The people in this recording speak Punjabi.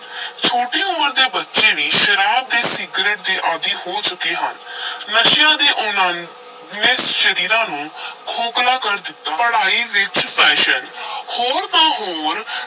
ਛੋਟੀ ਉਮਰ ਦੇ ਬੱਚੇ ਵੀ ਸ਼ਰਾਬ ਤੇ ਸਿਗਰਟ ਦੇ ਆਦੀ ਹੋ ਚੁੱਕੇ ਹਨ ਨਸ਼ਿਆਂ ਦੇ ਉਨ੍ਹਾਂ ਨੂੰ, ਨੇ ਸਰੀਰਾਂ ਨੂੰ ਖੋਖਲਾ ਕਰ ਦਿੱਤਾ, ਪੜਾਈ ਵਿਚ fashion ਹੋਰ ਤਾਂ ਹੋਰ,